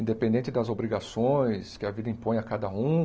Independente das obrigações que a vida impõe a cada um,